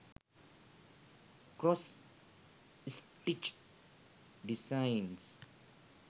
cross stitch designs